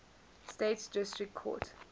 states district court